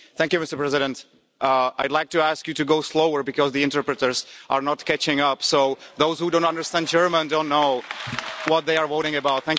Mr President, I'd like to ask you to go slower because the interpreters are not catching up, so those who don't understand German don't know what they are voting about.